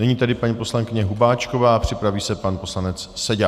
Nyní tedy paní poslankyně Hubáčková a připraví se pan poslanec Seďa.